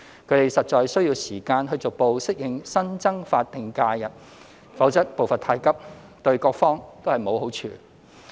他們實在需要時間逐步適應新增法定假日，否則步伐太急，對各方都沒有好處。